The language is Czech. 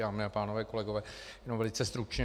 Dámy a pánové, kolegové, jenom velice stručně.